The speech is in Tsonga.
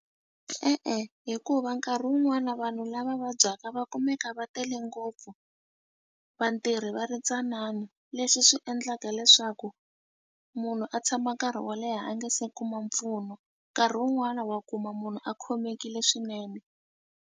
E-e, hikuva nkarhi wun'wani na vanhu lava vabyaka va kumeka va tele ngopfu vatirhi va ri ntsanana leswi swi endlaka leswaku munhu a tshama nkarhi wo leha a nga se kuma mpfuno nkarhi wun'wani wa kuma munhu a khomekile swinene.